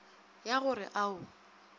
ya go re a o